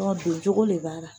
doncogo le b'a la.